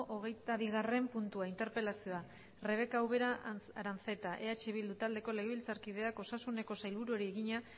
hogeita bigarren puntua interpelazioa rebeka ubera aranzeta eh bildu taldeko legebiltzarkideak osasuneko sailburuari egina